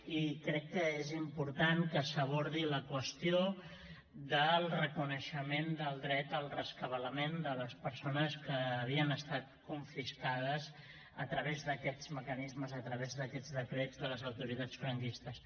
i crec que és important que s’abordi la qüestió del reconeixement del dret al rescabalament de les persones que havien estat confiscades a través d’aquests mecanismes a través d’aquests decrets de les autoritats franquistes